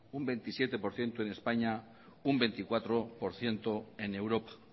un veintisiete por ciento en españa un veinticuatro por ciento en europa